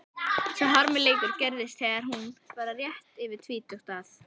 Sá harmleikur gerðist þegar hún var rétt yfir tvítugt að